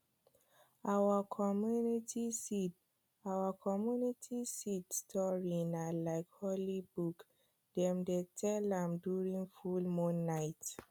for our community seed our community seed story na like holy book dem dey tell am during full moon night